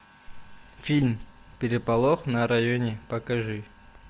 фильм переполох на районе покажи